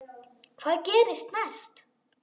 Hvað gerist næst?